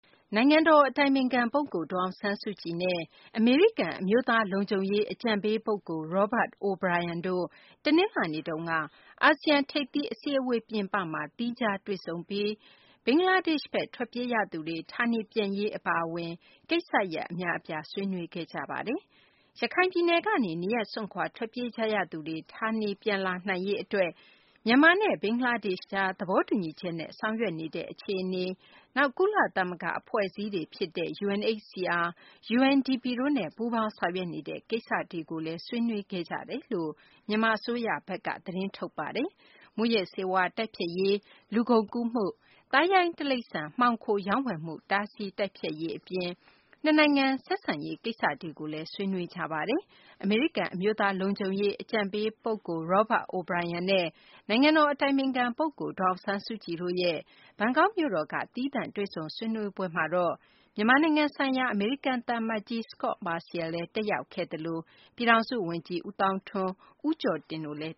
နိုင်ငံတော် အတိုင်ပင်ခံ ပုဂ္ဂိုလ် ဒေါ်အောင်ဆန်းစုကြည်နဲ့ အမေရိကန် အမျိုးသား လုံခြုံရေး အကြံပေး ပုဂ္ဂိုလ် Robert O’Brien တို့ တနလာၤနေ့တုန်းက အာဆီယံ ထိပ်သီး အစည်းအဝေး ပြင်ပမှာ သီးခြားတွေ့ဆုံပြီး ဘင်္ဂလားဒေရှ့်ဘက် ထွက်ပြေးရသူတွေ ဌာနေပြန်ရေး အပါအဝင် ကိစ္စရပ် အများအပြား ဆွေးနွေးခဲ့ကြပါတယ်။ ရခိုင်ပြည်နယ်ကနေ နေရပ်စွန့်ခွာ ထွက်ပြေးကြရသူတွေ ဌာနေပြန်လာနိုင်ရေး အတွက် မြန်မာနဲ့ ဘင်္ဂလားဒေရှ့်ကြား သဘောတူညီချက်နဲ့ ဆောင်ရွက်နေတဲ့ အခြေအနေ၊ နောက် ကုလသမဂ္ဂ အဖွဲ့အစည်းတွေ ဖြစ်တဲ့ UNHCR၊ UNDP တို့နဲ့ ပူးပေါင်းဆောင်ရွက်နေတဲ့ ကိစ္စတွေကိုလည်း ဆွေးနွေးခဲ့ကြောင်း မြန်မာ အစိုးရဘက်က သတင်းထုတ်ပြန်ပါတယ်။ မူးယစ်ဆေးဝါး တိုက်ဖျက်ရေး၊ လူကုန်ကူးမှု၊ သားရိုင်း တိရိစ္ဆာန် မှောင်ခို ရောင်းဝယ်မှု တားဆီး တိုက်ဖျက်ရေး အပြင် နှစ်နိုင်ငံ ဆက်ဆံရေး ကိစ္စတွေလည်း ဆွေးနွေးခဲ့ကြပါတယ်။ အမေရိကန် အမျိုးသား လုံခြုံရေး အကြံပေး ပုဂ္ဂိုလ် Robert O’Brien နဲ့ နိုင်ငံတော် အတိုင်ပင်ခံ ပုဂ္ဂိုလ် ဒေါ်အောင်ဆန်းစုကြည်တို့ ဘန်ကောက်မြို့တော်က သီးသန့် တွေ့ဆုံဆွေးနွေးပွဲမှာတော့ မြန်မာနိုင်ငံဆိုင်ရာ အမေရိကန် သံအမတ်ကြီး Scott Marciel လည်း တက်ရောက်ခဲ့သလို ပြည်ထောင်စုဝန်ကြီး ဦးသောင်းထွန်း နဲ့ ဦးကျော်တင် တို့လည်း